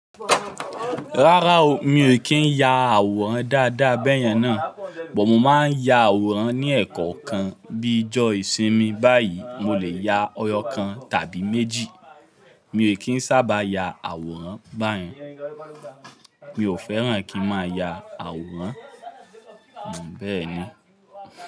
Rárá o, mi ò kí ń ya àwòrán dáadáa bẹ́yẹn náà, bọ̀ọ̀ mo máa ń ya àwòrán ní ẹ̀kọ̀ọ̀kan. Bíi ọjọ́ ìsinmi báyìí mo lè ya ọyọ́ kan tàbí méjì. Mi ò kí ń sábà ya àwòrán báyìí. Mi ò fẹ́ràn kí n máa ya àwòrán, bẹ́ẹ̀ ni.